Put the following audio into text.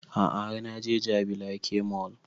A'a har na je jabi lake mall